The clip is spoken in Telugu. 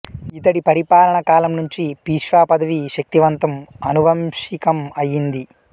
ఇతడి పరిపాలనా కాలం నుంచి పీష్వా పదవి శక్తివంతం అనువంశికం అయింది